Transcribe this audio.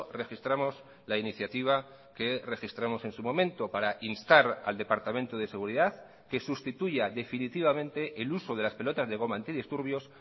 registramos la iniciativa que registramos en su momento para instar al departamento de seguridad que sustituya definitivamente el uso de las pelotas de goma antidisturbios